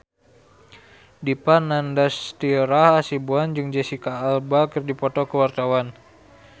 Dipa Nandastyra Hasibuan jeung Jesicca Alba keur dipoto ku wartawan